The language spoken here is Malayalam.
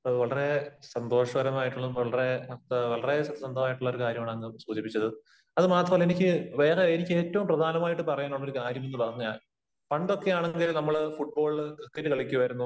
വളരെ സന്തോഷപരമായിട്ടുള്ളതും വളരെ സത്യസന്ധമായിട്ടുള്ള ഒരു കാര്യമാണ് അങ്ങ് സൂചിപ്പിച്ചത്. അത് മാത്രമല്ല, എനിക്ക് വേറെ, എനിക്ക് ഏറ്റവും പ്രധാനമായിട്ട് പറയാനുള്ള ഒരു കാര്യമെന്ന് പറഞ്ഞു കഴിഞ്ഞാൽ പണ്ടൊക്കെ ആണെന്നുണ്ടെങ്കിൽ നമ്മള് ഫുട്ബോള്, ക്രിക്കറ്റ് കളിക്കുമായിരുന്നു,